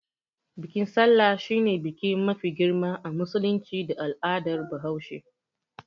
Bikin sallah shine biki mafi girma a musulunci da al'adar bahaushe.